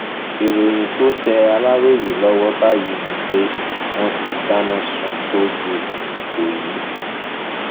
ìròyìn tó tẹ aláròye lọwọ báyìí ni pé wọn ti dáná sun tóò géètì ìkọyí